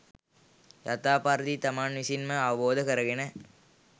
යථා පරිදි තමන් විසින්ම අවබෝධ කරගෙන